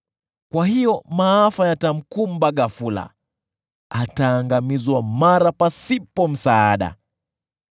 Kwa hiyo maafa yatamkumba ghafula; ataangamizwa mara, pasipo msaada.